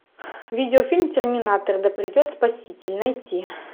видеофильм терминатор да придет спаситель найти